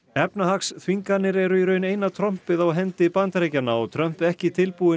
efnahagsþvinganir eru í raun eina trompið á hendi Bandaríkjanna og Trump ekki tilbúinn